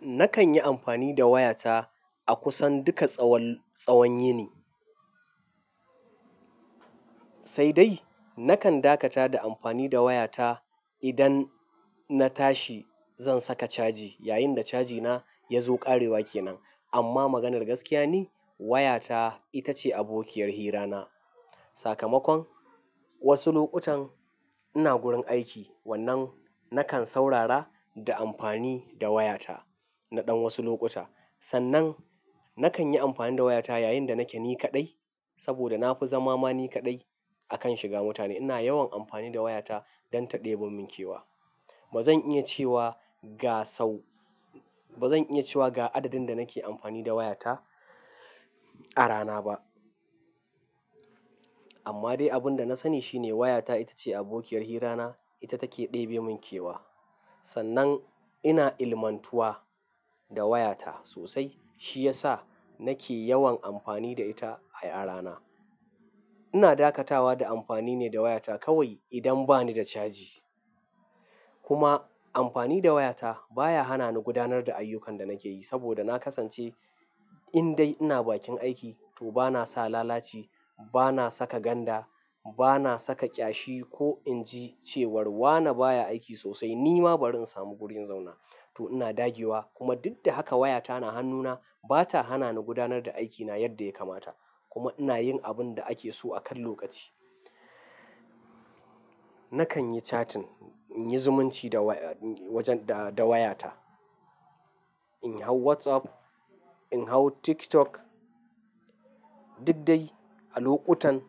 Nakan yi amfani da wayata a kusan duka tsawon yini. Sai dai nakan dakata da amfani da wayata idan na tashi zan saka caji yayin da cajina ya zo ƙarewa kenan. Amma maganar gaskiya ni wayata ita ce abokiyar hirana. Sakamakon wasu lokutan ina gurin aiki wannan nakan saurara da amfani da wayata na ɗan wasu lokuta. Sannan nakan yi amfani da wayata yayin da nake ni kaɗai saboda na fi zama ma ni kaɗai akan shiga mutane. Ina yawan amfani da wayata don ta ɗebe mun kewa. Ba zan iya cewa ga sau-- ba zan iya cewa ga adadin da nake amfani da wayata a rana ba. Amma dai abin da na sani shine wayata ita ce abokiyar hirana, ita take ɗebe mun kewa. Sannan ina ilmantuwa da wayata sosai shi yasa nake yawan amfani da ita a rana. Ina dakatawa da amfani ne da wayata kawai idan ba ni da caji. Kuma amfani da wayata baya hana ni gudanar da ayyukan da nake yi saboda na kasance in dai ina bakin aiki to bana sa lalaci, bana saka ganda, bana saka ƙyashi ko in ji cewar wane baya aiki sosai nima bari in samu gurin in zauna. To ina dage wa kuma duk da haka wayata na hannuna bata hana ni gudanar da aikina yadda ya kamata kuma ina yin abun da ake so akan lokaci. Nakan yi chatting, in yi zumunci da wayata. In hau WhatsApp, in hau TikTok duk dai a lokutan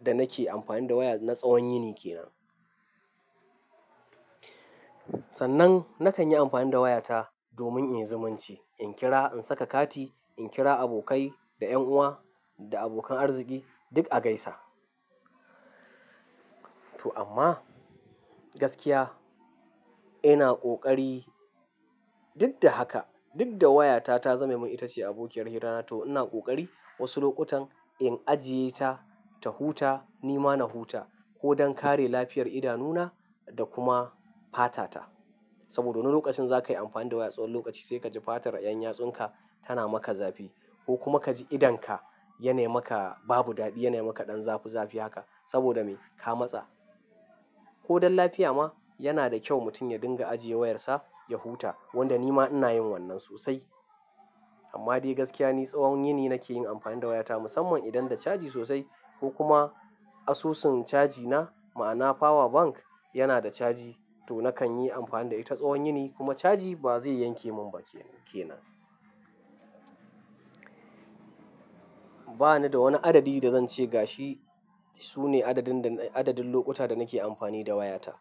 da nake amfani da waya na tsawon yini kenan. Sannan nakan yi amfani da wayata domin in zumunci, in kira, in saka kati, in kira abokai da 'yan uwa da abokan arziki duk a gaisa. To amma gaskiya ina ƙoƙari duk da haka duk da wayata ta zame mun ita ce abokiyar hirana to ina kokari wasu lokutan in ajiye ta ta huta nima na huta ko don kare lafiyar idanuna da kuma fata ta. Saboda wani lokacin zakayi amfani da waya tsawon lokaci sai kaji fatar 'yan yatsunka tana maka zafi ko kuma kaji idonka ya nai maka babu daɗi, ya nai maka ɗan zafi zafi haka saboda me? Ka matsa. Ko don lafiya ma yana da kyau mutum ya dinga ajiye wayarsa ya huta wanda nima ina yin wannan sosai. Amma dai gaskiya ni tsawon yini nake yin amfani da wayata musamman idan da caji sosai ko kuma asusun cajina ma'ana power bank yana da caji to nakan yi amfani da ita tsawon yini kuma caji ba zai yanke mun ba kenan. Ba ni da wani adadi da zan ce ga shi sune adadin lokuta da nake amfani da wayata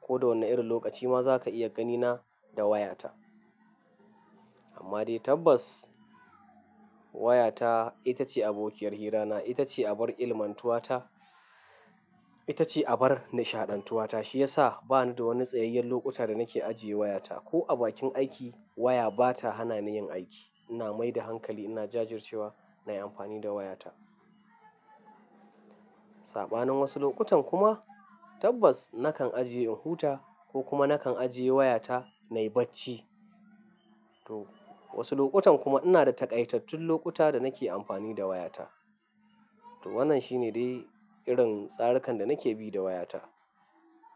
ko da wanne rin lokaci ma zaka iya gani na da wayata. Amma dai tabbas wayata ita ce abokiyar hirana, ita ce abar ilmantuwata, ita ce abar nishaɗantuwata shi yasa ba ni da wani tsayayyen lokuta da nake ajiye wayata ko a bakin aiki waya bata hana ni yin aiki. Ina mai da hankali ina jajircewa nayi amfani da wayata. Saɓanin wasu lokutan kuma tabbas nakan ajiye in huta ko kuma nakan ajiye wayata nayi bacci. To wasu lokutan kuma ina da taƙaitattun lokuta da nake amfani da wayata. To wannan shi ne dai irin tsarikan da nake bi da wayata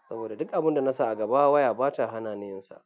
saboda duk abun da nasa a gaba waya bata hana ni yinsa.